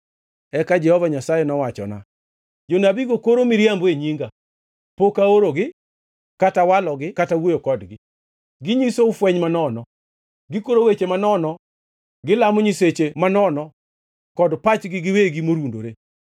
Eka Jehova Nyasaye nowachona, “Jonabigo koro miriambo e nyinga. Pok aorogi, kata walogi kata wuoyo kodgi. Ginyisou fweny manono, gikoro weche manono gilamo nyiseche manono kod pachgi giwegi morundore.